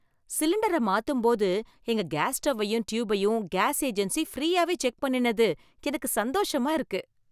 சிலிண்டரை மாத்தும்போது எங்க கேஸ் ஸ்டவ்வையும் டியூபையும் கேஸ் ஏஜென்சி ஃப்ரீயாவே செக் பண்ணினது எனக்கு சந்தோஷமா இருக்கு.